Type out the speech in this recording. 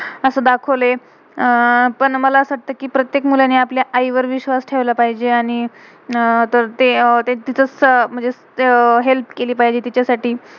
असं दाखवलय. अह पण मला असं वाटतय कि, प्रत्येक मुलानी आपल्या आई वर विश्वास ठेवला पाहिजे, आणि अह तर ते अं ते~कसं~म्हणजे हेल्प help केलि पाहिजे तिच्यासाठी.